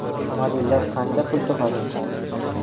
Modellar qancha pul topadi?